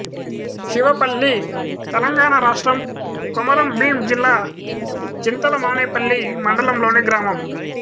శివపల్లి తెలంగాణ రాష్ట్రం కొమరంభీం జిల్లా చింతల మానేపల్లి మండలంలోని గ్రామం